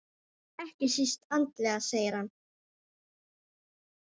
Ekki síst andlega segir hann.